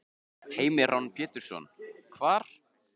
Heimir Már Pétursson: Hvar?